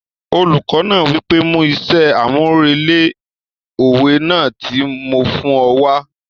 Olùkọ náà wí pé 'mú iṣẹ́ àmúrelé òwe náà tí mo fún ọ wá'